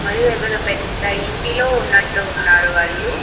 మరి పెద్ద ఇంటిలో ఉన్నట్టు ఉన్నారు వాళ్లు.